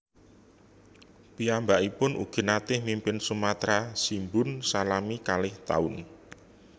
Piyambakipun ugi naté mimpin Sumatra Shimbun salami kalih taun